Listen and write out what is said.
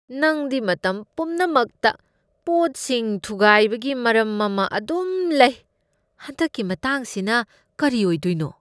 ꯅꯪꯗꯤ ꯃꯇꯝ ꯄꯨꯝꯅꯃꯛꯇ ꯄꯣꯠꯁꯤꯡ ꯊꯨꯒꯥꯏꯕꯒꯤ ꯃꯔꯝ ꯑꯃ ꯑꯗꯨꯝ ꯂꯩ ꯫ ꯍꯟꯗꯛꯀꯤ ꯃꯇꯥꯡꯁꯤꯅ ꯀꯔꯤ ꯑꯣꯏꯗꯣꯏꯅꯣ?